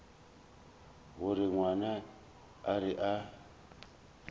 gore ngwana a re a